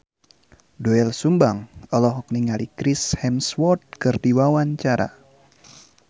Doel Sumbang olohok ningali Chris Hemsworth keur diwawancara